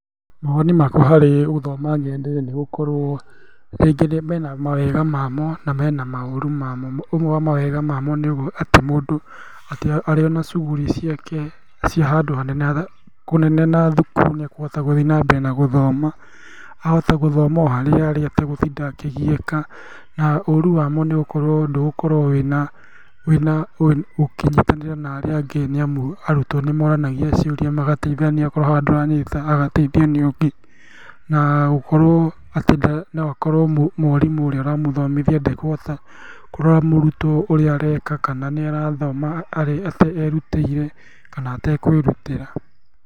Mawoni makwa harĩ gũthoma nenda-inĩ nĩgũkorwo rĩngĩ mena mawega mamo, na mena maũru mamo. Ũmwe wa mawega mamo nĩ atĩ mũndũ atĩ arĩona cuguri ciake cia handũ hanene kũnene na thukuru nĩekũhota gũthiĩ nambere nagũthoma, ahote gũthiĩ nambere nagũthoma, ahote gũthoma oharĩa arĩ, ategũtinda akĩgiĩka, na ũru wamo nĩatĩ ndũgũkorwo wĩna, ũkĩnyitanĩra na arĩa angĩ nĩamu arutwo nĩmoranagia ciũria, magataithania akorwo haha ndaranyita agataithio nĩũngĩ, nagũkorwo atĩ noakorwo mwarimũ ũrĩa ũramũthomithia ndekũhota kũrora mũrutwo ũrĩa areka, kana nĩ arathoma erutĩire kana atekwĩrutĩra.